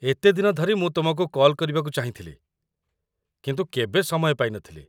ଏତେ ଦିନ ଧରି ମୁଁ ତୁମକୁ କଲ୍ କରିବାକୁ ଚାହିଁଥିଲି, କିନ୍ତୁ କେବେ ସମୟ ପାଇନଥିଲି।